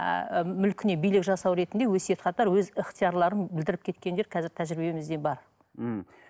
ыыы мүлкіне билік жасау ретінде өсиет хаттар өз ыхтиярларын білдіріп кеткендер қазір тәжірибемізде бар мхм